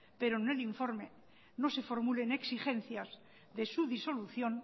pero no en el informe no se formulen exigencias de su disolución